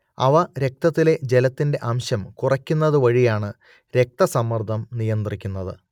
അവ രക്തത്തിലെ ജലത്തിന്റെ അംശം കുറയ്ക്കുന്നത് വഴിയാണ് രക്തസമ്മർദ്ദം നിയന്ത്രിക്കുന്നത്